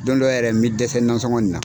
Don dɔ yɛrɛ n bɛ dɛsɛ nansɔngɔn na.